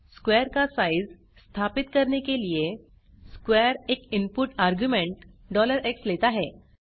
square का size स्थापित करने के लिए स्क्वेयर एक इनपुट आर्ग्युमेन्ट x लेता है